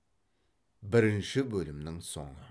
бірінші бөлімнің соңы